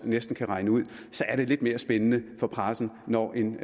næsten kan regne ud er det lidt mere spændende for pressen når en